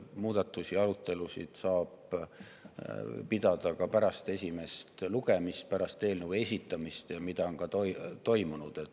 Muudatuste arutelusid saab pidada ka pärast eelnõu esitamist, pärast esimest lugemist, ja see on ka toimunud.